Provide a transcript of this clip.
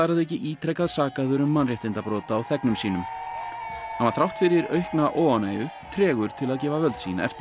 auki ítrekað sakaður um mannréttindabrot á þegnum sínum hann var þrátt fyrir aukna óánægju tregur til að gefa völd sín eftir